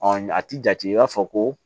a ti jate i b'a fɔ ko